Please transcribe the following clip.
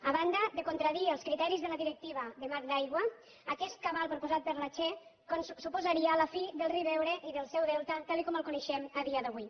a banda de contradir els criteris de la directiva marc d’aigua aquest cabal proposat per la che suposaria la fi del riu ebre i del seu delta tal com el coneixem a dia d’avui